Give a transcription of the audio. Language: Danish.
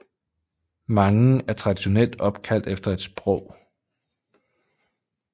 Mange er traditionelt opkaldt efter et sprog